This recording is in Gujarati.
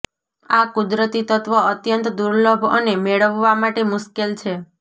આ કુદરતી તત્વ અત્યંત દુર્લભ અને મેળવવા માટે મુશ્કેલ છે